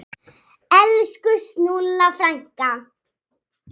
Elsku Snúlla frænka.